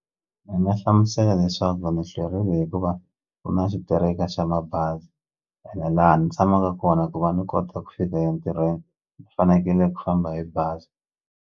Ndzi nga hlamusela leswaku ni hlwerile hikuva ku na xitereka xa mabazi ene laha ni tshamaka kona ku va ni kota ku fika entirhweni ni fanekele ku famba hi bazi.